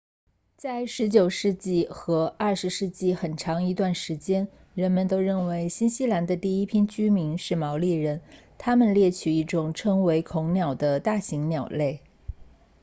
在十九世纪和二十世纪很长一段时间人们都认为新西兰的第一批居民是毛利人他们猎取一种称为恐鸟的大型鸟类